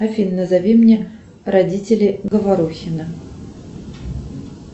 афина назови мне родителей говорухина